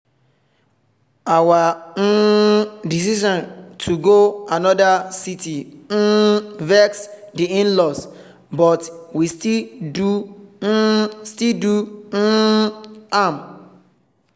our um decision to go another city um vex the in-laws but we still do um still do um am